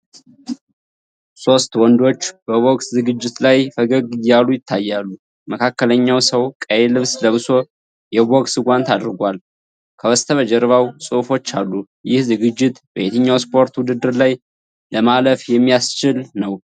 ሦስት ወንዶች በ ቦክስ ዝግጅት ላይ ፈገግ እያሉ ይታያሉ። መካከለኛው ሰው ቀይ ልብስ ለብሶ የቦክስ ጓንት አድርጓል። ከበስተጀርባ ጽሑፎች አሉ። ይህ ዝግጅት በየትኛው ስፖርት ውድድር ላይ ለማለፍ የሚያስችል ነው?